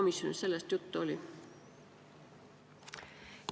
Kas komisjonis sellest juttu oli?